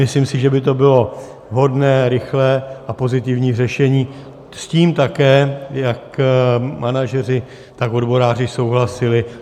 Myslím si, že by to bylo vhodné, rychlé a pozitivní řešení, s tím také jak manažeři, tak odboráři souhlasili.